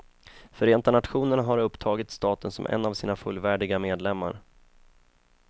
Förenta nationerna har upptagit staten som en av sina fullvärdiga medlemmar.